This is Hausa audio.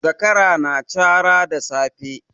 Zakara ya na cara da safe